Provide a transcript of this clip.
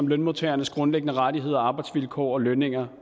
lønmodtagernes grundlæggende rettigheder arbejdsvilkår og lønninger